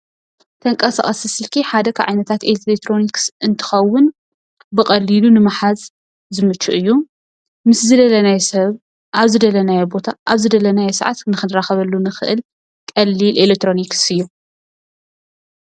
ተንቀሳቀሲ ስልኪ ሓደ ካብ ዓይነታት ኤሌክትሮኒስ እትከውን ብቀሊሉ ንምሓዝ ዝምቹ እዩ። ምስ ዝደለናዮ ሰብ ኣብ ዝደለናዮ ቦታ፣ ኣብ ዝደለናዮ ሰዓት ንክንራከበሉ እንክእል ቀሊል ኤሌክትሮኒክስ እዩ።